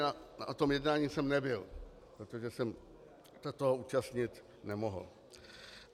Na tom jednání jsem nebyl, protože jsem se toho účastnit nemohl.